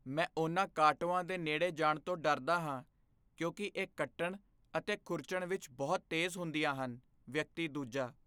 ਮੈਂ ਉਨ੍ਹਾਂ ਕਾਟੋਆਂ ਦੇ ਨੇੜੇ ਜਾਣ ਤੋਂ ਡਰਦਾ ਹਾਂ ਕਿਉਂਕਿ ਇਹ ਕੱਟਣ ਅਤੇ ਖੁਰਚਣ ਵਿੱਚ ਬਹੁਤ ਤੇਜ਼ ਹੁੰਦੀਆਂ ਹਨ ਵਿਅਕਤੀ ਦੂਜਾ